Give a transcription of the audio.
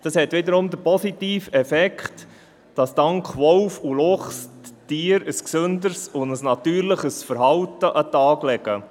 Das hat wiederum den positiven Effekt, dass die Tiere dank Wolf und Luchs ein gesünderes und natürlicheres Verhalten an den Tag legen.